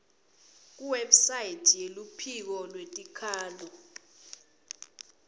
kuwebsite yeluphiko lwetikhalo